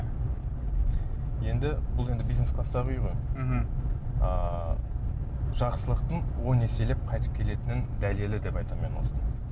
енді бұл енді бизнес кластағы үй ғой мхм ыыы жақсылықтың он еселеп қайтып келетінінің дәлелі деп айтамын мен осыны